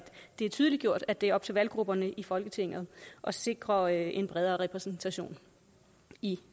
det er tydeliggjort at det er op til valggrupperne i folketinget at sikre en bredere repræsentation i